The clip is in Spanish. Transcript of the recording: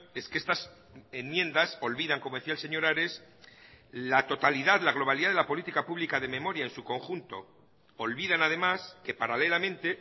es que estas enmiendas olvidan como decía el señor ares la totalidad la globalidad de la política pública de memoria en su conjunto olvidan además que paralelamente